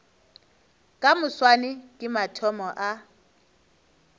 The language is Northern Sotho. ka moswane ke mathomo a